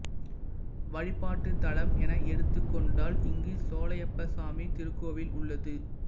வழிபாட்டுத் தலம் என எடுத்துக் கொண்டால் இங்கு சோலையப்பசாமி திருக்கோவில் உள்ளது